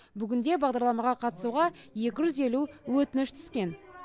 бүгінде бағдарламаға қатысуға екі жүз елу өтініш түскен